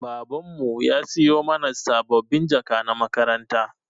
Baban mu ya siyo mana sabbabin jaka na makaranta.